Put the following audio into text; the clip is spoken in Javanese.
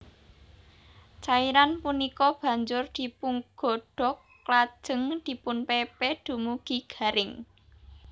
Cairan punika banjur dipungodhog lajeng dipunpépé dumugi garing